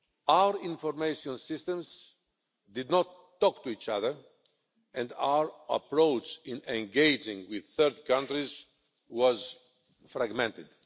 Our information systems did not talk to each other, and our approach in engaging with third countries was fragmented.